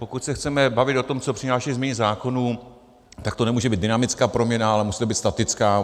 Pokud se chceme bavit o tom, co přináší změny zákonů, tak to nemůže být dynamická proměna, ale musí to být statická.